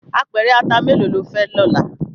Apèrè àtá méló ló fè lòlá?